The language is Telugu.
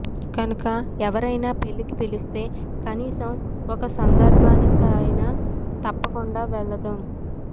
కనుక ఎవరయినా పెళ్లికి పిలిస్తే కనీసం ఒక సందర్భానికయినా తప్పకుండా వెళదాం